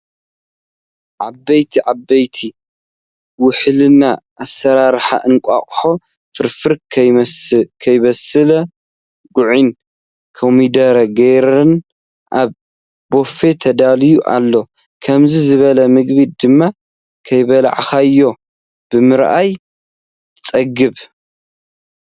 ኣብየት! ኣብየት! ውሕልና ኣሰራርሓ እንቋቆሖ ፍርፍር ፤ ከይበሰለ ጉዕን ኮሚደረን ገይረን ኣብ ቦፌ ተዳልዩ ኣሎ ። ከምዙይ ዝበለ ምግቢ ድማ ከይበላዓካዮ ብምርኣይ ትፀግብ።